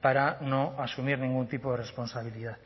para no asumir ningún tipo de responsabilidad